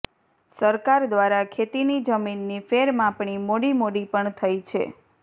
સરકાર દ્વારા ખેતીની જમીનની ફેર માપણી મોડી મોડી પણ થઈ છે